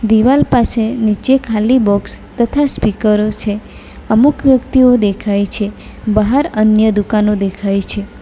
દિવાલ પાસે નીચે ખાલી બોક્સ તથા સ્પીકરો છે અમુક વ્યક્તિઓ દેખાય છે બહાર અન્ય દુકાનો દેખાય છે.